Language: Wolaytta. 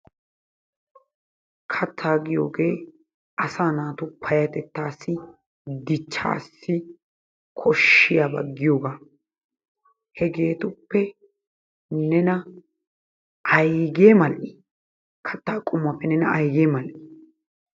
Kattaa giyooge asaa naatu paayatettassi dichchassi koshshiyaba giyoogaa hegeetuppe nena aygge mal"ii? Katta qommuwappe nena ayggee mal"ii?